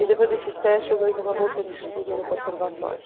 E depois desse teste eu ganhei uma bolsa de estudo no conservatório.